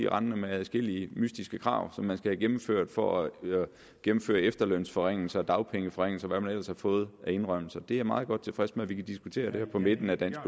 rendende med adskillige mystiske krav som man skal have gennemført for at gennemføre efterlønsforringelser og dagpengeforringelser og hvad man ellers har fået af indrømmelser det er jeg meget godt tilfreds med at vi kan diskutere her på midten af dansk